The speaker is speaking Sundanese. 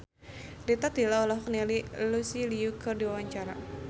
Rita Tila olohok ningali Lucy Liu keur diwawancara